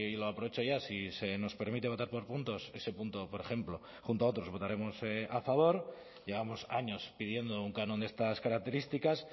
lo aprovecho ya si se nos permite votar por puntos ese punto por ejemplo junto a otros votaremos a favor llevamos años pidiendo un canon de estas características